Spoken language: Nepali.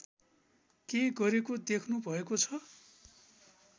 क्यै गरेको देख्नुभएको छ